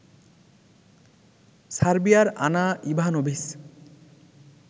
সার্বিয়ার Ana Ivanovic